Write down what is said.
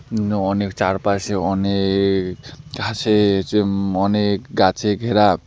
উম অনেক চারপাশে অনেক ঘাসের উম অনেক গাছে ঘেরা।